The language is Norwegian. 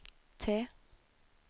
T